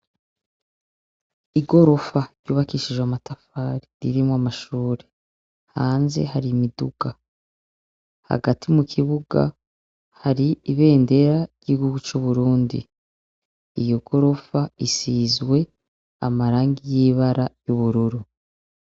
Igorofa yubakishijwe amatafari irimwo amashure, hanze hari imiduga. Hagati mu kibuga hari ibendera ry'igihugu c'Uburundi. Iyo gorofa isizwe amarangi y'ibara ry'ubururu.